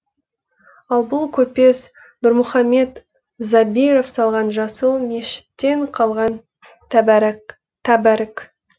ал бұл көпес нұрмұхамет забиров салған жасыл мешіттен қалған тәбәрік